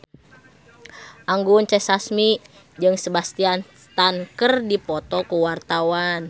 Anggun C. Sasmi jeung Sebastian Stan keur dipoto ku wartawan